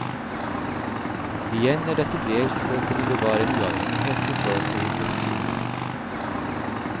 Igjen er dette dels for å kunne bevare en uavhengighet i forhold til institusjonene.